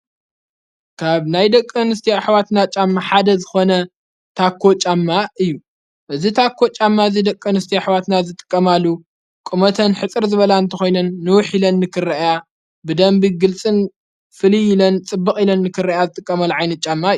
ካብ ናይ ደቂ ኣንስቲዮ ኣኅዋትና ጫማ ሓደ ዝኾነ ታኮ ጫማ እዩ እዝ ታኮ ጫማ እዝ ደቂኣንስቲዮ ኣኅዋትና ዝጥቀማሉ ቁመተን ሕጽር ዝበላ እንተ ኾይነን ንውኅ ኢለን ንክርአያ ብደንቢ ግልጽን፣ ፍልይ ኢለን፣ ጽብቕ ኢለን ንክርአያ ዝጥቀማሉ ዓይነት ጫማ እዮ።